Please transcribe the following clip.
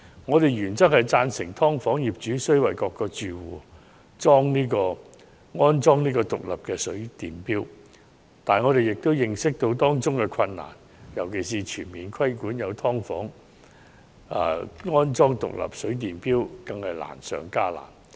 我們原則上贊成"劏房"業主須為各個住戶安裝獨立水電錶，但我們亦認識到當中的困難，尤其是全面規定現存"劏房"必須安裝獨立水電錶更是難上加難。